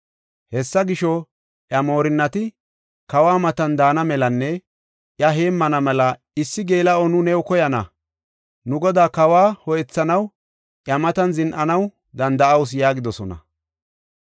Hessa gisho, iya moorinnati, “Kawa matan daana melanne iya heemmana mela issi geela7o nu new koyana. Nu godaa kawa ho7ethanaw iya matan zin7anaw danda7awusu” yaagidosona.